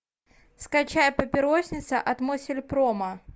скачай папиросница от моссельпрома